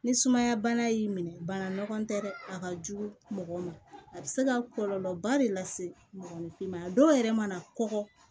Ni sumaya bana y'i minɛ bana nɔgɔ tɛ dɛ a ka jugu mɔgɔw ma a bɛ se ka kɔlɔlɔba de lase mɔgɔninfin ma dɔw yɛrɛ mana kɔgɔ